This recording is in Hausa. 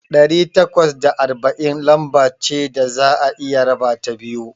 Ɗari takwas da arba'in lamba ce da za'a iya rabata biyu.